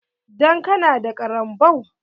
Ɗan ka na da ƙaranbau?